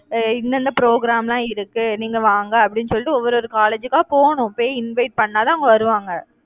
அஹ் இந்த இந்த program எல்லாம் இருக்கு. நீங்க வாங்க, அப்படின்னு சொல்லிட்டு, ஒவ்வொரு ஓரு college க்கா போணும் போய் invite பண்ணாதான் அவங்க வருவாங்க